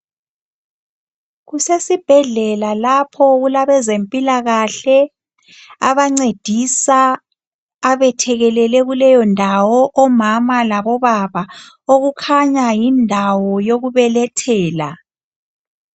Kusesibhedlela lapho okulabezempilakahle abancedisa abethekelele kuleyondawo omama labobaba. Okukhanya yindawo yokubelethela.